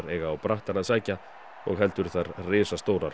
eiga á brattann að sækja og heldur risastórar